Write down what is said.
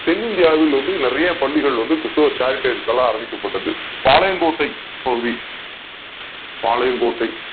தென்னிந்தியாவில வந்து நிறைய பள்ளிகள் கிறிஸ்துவ Charities ஆள உருவாக்கப் பட்டது பாளையங் கோட்டை பகுதி பாளையங்கோட்டை